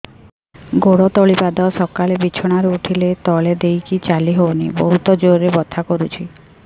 ଗୋଡ ତଳି ପାଦ ସକାଳେ ବିଛଣା ରୁ ଉଠିଲେ ତଳେ ଦେଇକି ଚାଲିହଉନି ବହୁତ ଜୋର ରେ ବଥା କରୁଛି